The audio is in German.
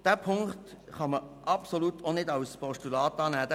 Diese Ziffer kann man auch als Postulat absolut nicht annehmen.